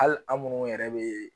Ali an munnu yɛrɛ bee